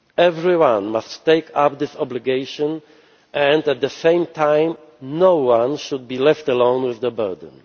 Everyone must take up this obligation and at the same time, no one should be left alone with the burden.